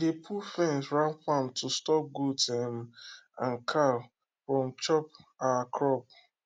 we dey put fence round farm to stop goat um and cow from chop our crop